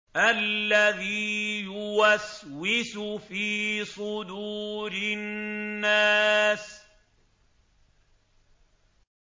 الَّذِي يُوَسْوِسُ فِي صُدُورِ النَّاسِ